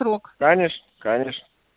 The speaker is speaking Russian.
в срок конечно конечно